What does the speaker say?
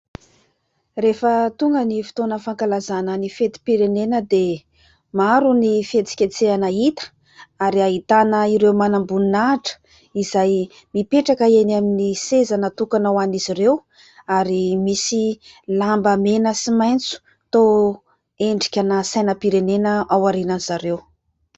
Rehefa tonga ny fotoana fankalazana ny fetim-pirenena dia maro ny fihetsiketsehana hita ary ahitana ireo manam-boninahitra izay mipetraka eny amin'ny seza natokana ho an'izy ireo ary misy lamba mena sy maitso toa endrikana sainam-pirenena ao aorian'izy ireo.